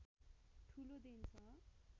ठूलो देन छ